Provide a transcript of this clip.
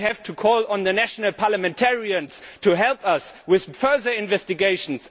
We have to call on the national parliamentarians to help us with further investigations.